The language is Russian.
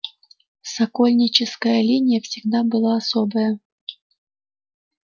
сокольническая линия всегда была особая